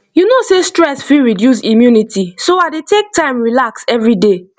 you know sey stress fit reduce immunity so i dey take time relax every day